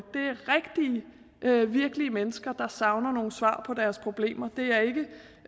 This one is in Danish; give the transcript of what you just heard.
det er rigtige og virkelige mennesker der savner nogle svar på deres problemer det er ikke